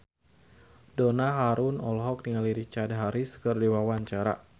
Donna Harun olohok ningali Richard Harris keur diwawancara